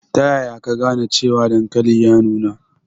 Ta yaya ka gane cewa dankalin ya nuna?